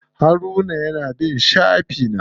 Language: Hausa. Haruna ya na bin shafi na.